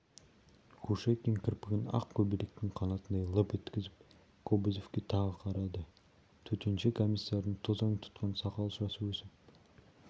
кушекин кірпігін ақ көбелектің қанатындай лып еткізіп кобозевке тағы қарады төтенше комиссардың тозаң тұтқан сақал-шашы өсіп